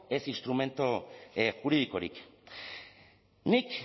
ez instrumentu juridikorik nik